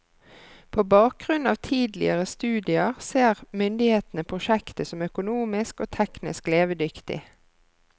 På bakgrunn av tidligere studier ser myndighetene prosjektet som økonomisk og teknisk levedyktig.